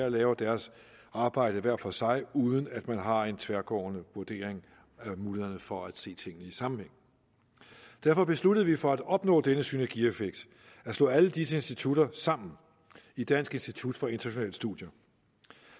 og laver deres arbejde hver for sig uden at man har en tværgående vurdering af mulighederne for at se tingene i sammenhæng derfor besluttede vi for at opnå denne synergieffekt at slå alle disse institutter sammen i dansk institut for internationale studier